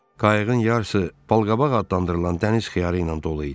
Qayığın yarısı balqabaq adlandırılan dəniz xiyarı ilə dolu idi.